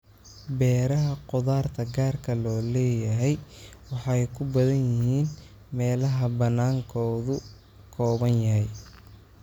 Beeraha khudaarta gaarka loo leeyahay waxay ku badan yihiin meelaha banaankoodu kooban yahay.